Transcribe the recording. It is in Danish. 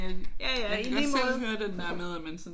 Jaja i lige måde